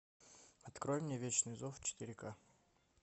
открой мне вечный зов четыре ка